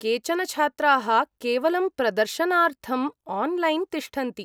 केचन छात्राः केवलं प्रदर्शनार्थम् आन्लैन् तिष्ठन्ति।